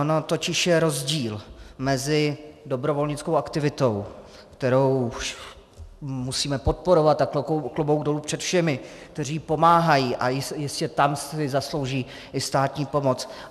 Ono totiž je rozdíl mezi dobrovolnickou aktivitou, kterou musíme podporovat, a klobouk dolů před všemi, kteří pomáhají a jistě tam si zaslouží i státní pomoc.